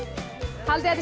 haldið þið